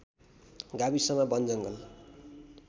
गाविसमा वनजङ्गल